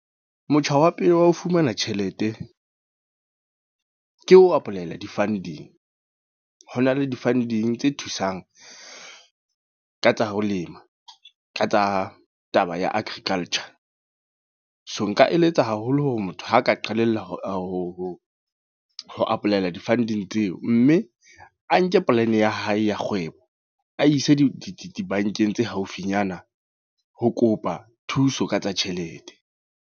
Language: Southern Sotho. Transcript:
Motjha wa pele wa ho fumana tjhelete. Ke ho apply-ela di-funding. Ho na le di-funding tse thusang ka tsa ho lema, ka tsa taba ya Agriculture. So nka eletsa haholo hore motho ha ka qalella ho ho apply-ela di-funding tseo. Mme a nke polane ya hae ya kgwebo a ise di dibankeng tse haufinyana ho kopa thuso ka tsa tjhelete.